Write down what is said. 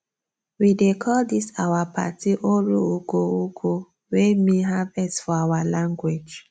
we dey call dis our party oru ugwo ugwo wey mean harvest for our language